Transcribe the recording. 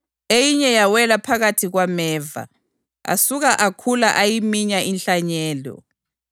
Eyinye yawela phakathi kwameva, asuka akhula ayiminya inhlanyelo.